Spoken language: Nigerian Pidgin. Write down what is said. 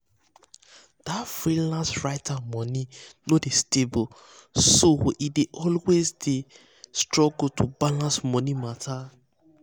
that freelance writer money no dey stable so e dey always dey always struggle to balance money matter.